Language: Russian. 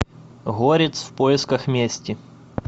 горец в поисках мести